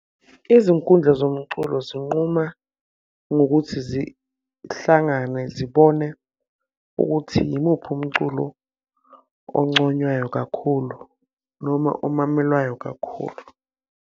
Izinkundla zomculo zinquma ngokuthi zihlangane zibone ukuthi yimuphi umculo onconywayo kakhulu noma omamelwayo kakhulu.